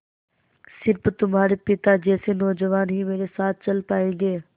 स़िर्फ तुम्हारे पिता जैसे नौजवान ही मेरे साथ चल पायेंगे